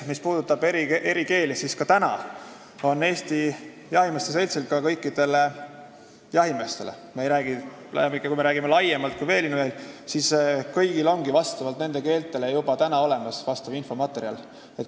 Mis puudutab eri keeli, siis ka praegu on Eesti Jahimeeste Seltsil kõikidele jahimeestele, kui me räägime laiemalt kui veelinnujahist, olemas infomaterjal eri keeltes.